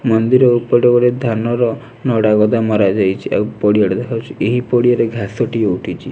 ମନ୍ଦିର ହେପଟେ ଗୋଟେ ଧାନର ନଡ଼ା ଗଦା ମରା ଯାଇଚି। ଆଉ ପଡିଆଟା ଦେଖାଯାଉଚି। ଆଉ ଏହିଁ ପଡିଆରେ ଘାସଟିଏ ଉଠିଛି।